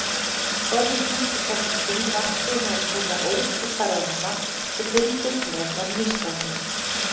Forvitnin sem þessi sýn vakti meðal þeirra ótal ferðamanna sem fylgdust með var nístandi.